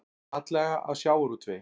Atlaga að sjávarútvegi